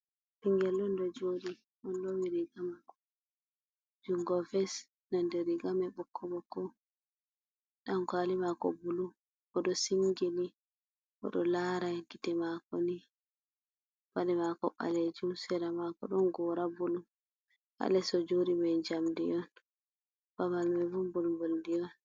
Ɓingel on do joɗi, oɗo lowi ri gamako jungo ves nonde ri gamai ɓokko-ɓokko. Ɗankwali mako bulu. Bo o ɗo singini, bo oɗo lara gite mako ni. Paɗe mako balejum on sera mako ɗon gora bulu. Ha les o jodi ni ma jamdi on babal mai bo bulbul ndi on.